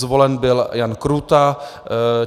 Zvolen byl Jan Krůta.